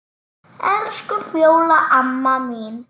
Elsku Fjóla amma mín.